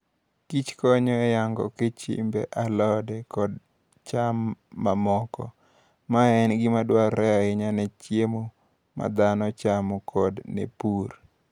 Kich konyo e nyago okichmbe, alode, kod cham mamoko. Mae en gima dwarore ahinya ne chiemo ma dhano chamo koda ne pur.